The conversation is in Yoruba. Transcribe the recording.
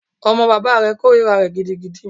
Ọmọ bàbá rẹ̀ kòrira rẹ̀ gidigidi.